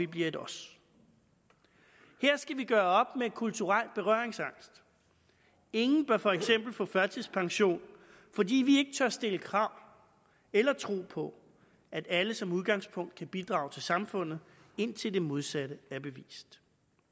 bliver et os her skal vi gøre op med kulturel berøringsangst ingen bør for eksempel få førtidspension fordi vi ikke tør stille krav om eller tro på at alle som udgangspunkt kan bidrage til samfundet indtil det modsatte er bevist